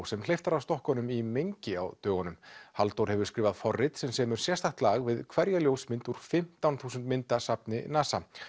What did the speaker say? sem hleypt var af stokkunum í mengi á dögunum Halldór hefur skrifað forrit sem semur sérstakt lag við hverja ljósmynd úr fimmtán þúsund mynda safni NASA